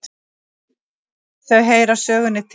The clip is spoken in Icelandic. Þau heyra sögunni til.